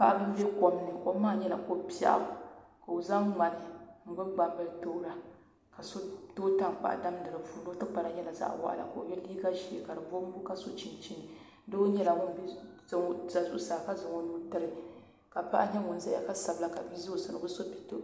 Paɣa n ʒɛ kom ni kom maa nyɛla ko biɛɣu ka o zaŋ ŋmani n gbubi gbambili toora ka so tooi tankpaɣu damdi di puuni o tikpara nyɛla zaɣ waɣala ka ʒiɛ ka so chinchin doo nyɛla ŋun ʒɛ zuɣusaa ka zaŋ o nuu tiri ka paɣa nyɛ ŋun ʒɛ zuɣusaa ka sabila ka bia ʒɛ o sani o bi so pɛto